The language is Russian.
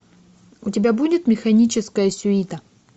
у тебя будет механическая сюита